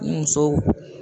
U musow.